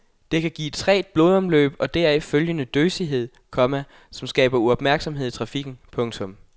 Det kan give trægt blodomløb og deraf følgende døsighed, komma som skaber uopmærksomhed i trafikken. punktum